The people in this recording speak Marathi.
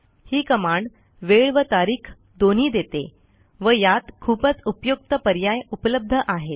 ही कमांड वेळ व तारीख दोन्ही देते व यात खूपच उपयुक्त पर्याय उपलब्ध आहेत